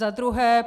Za druhé.